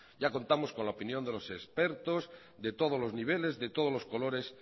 ya contamos con la opinión de los expertos de todos los niveles de todos los colores